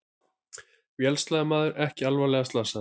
Vélsleðamaður ekki alvarlega slasaður